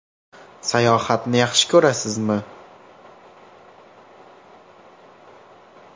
Sayohatni yaxshi ko‘rasizmi?